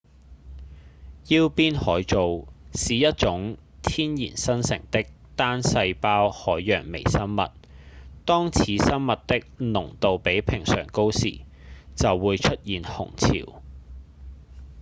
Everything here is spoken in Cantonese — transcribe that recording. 腰鞭毛藻是一種天然生成的單細胞海洋微生物當此生物的濃度比平常高時就會出現紅潮